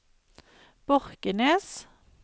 Borkenes